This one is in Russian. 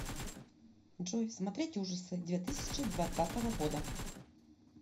джой смотреть ужасы две тысячи двадцатого года